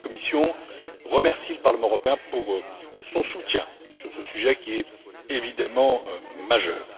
La Commission remercie le Parlement européen pour son soutien sur ce sujet qui est évidemment majeur.